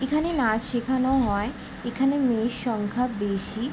এখানে নাচ শেখানো হয়। এখানে মেয়ের সংখ্যা বেশি।